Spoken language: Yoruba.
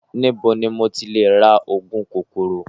Níbo ni mo ti lè ra ògùn kòkòrò?